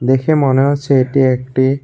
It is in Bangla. দেখে মনে হচ্ছে এটি একটি--